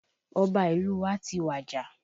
Ọba ìlú wa ti wàjà